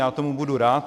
Já tomu budu rád.